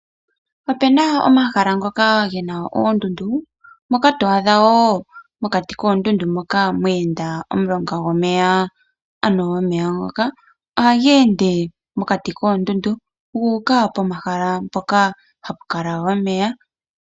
Opuna omahala ngoka gena oondudu. Mondundu ohamu kala mweenda omulonga gomeya. Omeya ngaka ogu uka komahala hoka haku kala omeya.